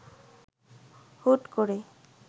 হুট করে